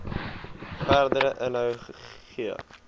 verdere inhoud gee